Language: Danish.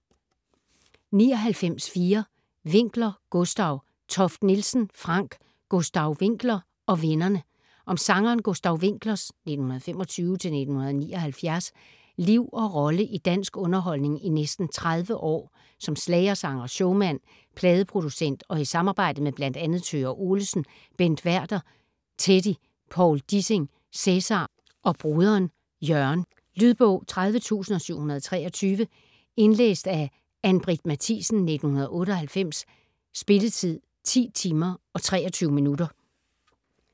99.4 Winckler, Gustav Toft-Nielsen, Frank: Gustav Winckler & vennerne Om sangeren Gustav Wincklers (1925-1979) liv og rolle i dansk underholdning i næsten 30 år; som schlagersanger, showmand, pladeproducent og i samarbejdet med bl.a. Thøger Olesen, Bent Werther, Teddy, Povl Dissing, Cæsar og broderen Jørgen. Lydbog 30723 Indlæst af Ann-Britt Mathiesen, 1998. Spilletid: 10 timer, 23 minutter.